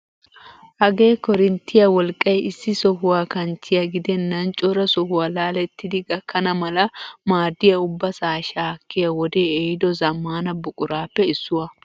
Hagee korinittiyaa wolqqay issi sohuwaa kanchchiyaa gidennan cora sohuwaa laalettidi gakkana mala maaddiyaa ubbasaa shakkiyaa wodee ehido zammaana buquraappe issuwaa.